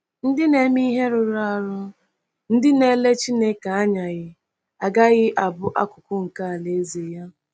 Ndị na-eme ihe rụrụ arụ, ndị na-ele Chineke anyaghị, agaghị abụ akụkụ nke Alaeze ya.